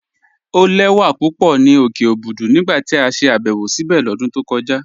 Ọ̀ lẹ̀wà pupọ̀ ni okè Òbùdú nígbà tí a ṣè àbẹ̀wọ̀ síbé lọ́dún tó kọja.